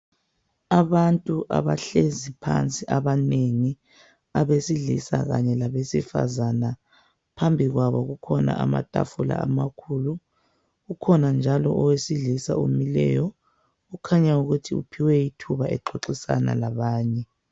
Abantu abahlezi phansi abanengi abesilisa labesifazana, phambikwabo kukhona amatafula amakhulu kukhona njalo owesilisa omileyo kukhanya uphiwe ethuba exoxisana labanye.